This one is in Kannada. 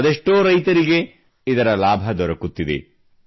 ಅದೆಷ್ಟೋ ರೈತರಿಗೆ ಇದರ ಲಾಭ ದೊರೆಯುತ್ತಿದೆ